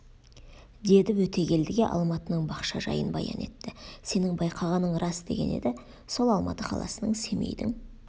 деді өтегелдіге алматының бақша жайын баян етті сенің байқағаның рас деген еді сол алматы қаласының семейдің